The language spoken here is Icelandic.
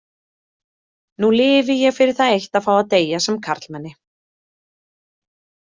Nú lifi ég fyrir það eitt að fá að deyja sem karlmenni.